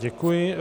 Děkuji.